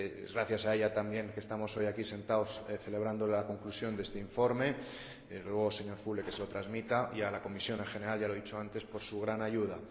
Gracias a ella, también, estamos hoy aquí sentados celebrando la conclusión de este informe le ruego, señor Füle, que se lo transmita y gracias a la Comisión en general, ya lo he dicho antes, por su gran ayuda.